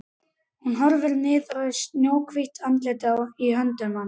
Hún horfir niður í snjóhvítt andlitið í höndum hans.